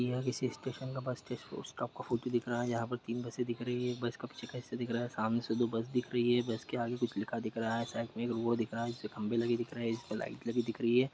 यह किसी स्टेशन का बस स्टैंड है। उस तरह का फोटो दिख रहा है। जहां तीन बसें ई दिख रही है। बस का पीछे का हिस्सा दिख रहा है सामने से दो बस दिख रही है। बस के आगे कुछ लिखा दिख रहा है। साइड में वो दिख रहा है। खम्बे लगे दिख रहे है जिस पर लाइट लगी दिख रही है।